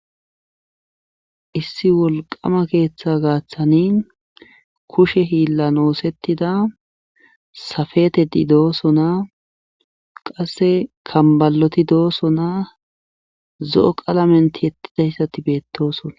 Issi wolqama keeththa gaaththanin kushe hiillan oosettida safetedi dooso naa qasse kambaloti dooso naa zo'o qalamenti yettidayssati beettosona